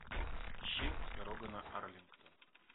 ищи дорога на арлингтон